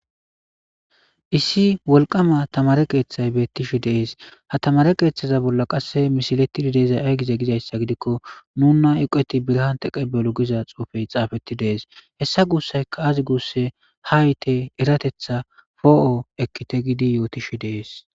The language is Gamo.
Issi wolqama tamare qeeththay bettishi dees ha tamare qeeththaza bolla qasse mishiletidi deezay aygiza gidayssa gidikko nuna uqeti birhante qebelu giza xuufey xaafetti dees hessa guussayka azi guusse hayte eratetha foo'o ekkite gidi yootishi dees